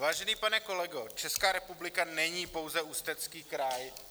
Vážený pane kolego, Česká republika není pouze Ústecký kraj.